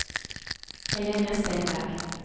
Helene Stenberg